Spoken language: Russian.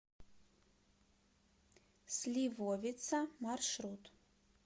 сливовица маршрут